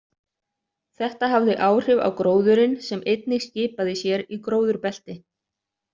Þetta hafði áhrif á gróðurinn sem einnig skipaði sér í gróðurbelti.